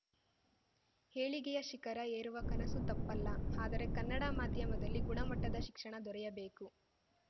ಏಳಿಗೆಯ ಶಿಖರ ಏರುವ ಕನಸು ತಪ್ಪಲ್ಲ ಆದರೆ ಕನ್ನಡ ಮಾಧ್ಯಮದಲ್ಲಿ ಗುಣಮಟ್ಟದ ಶಿಕ್ಷಣ ದೊರೆಯಬೇಕು